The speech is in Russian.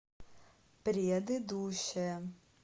предыдущая